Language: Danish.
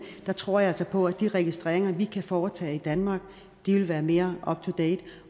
der tror jeg altså på at de registreringer vi kan foretage i danmark vil være mere up to date